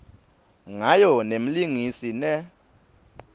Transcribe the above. ngayo nemlingisi ne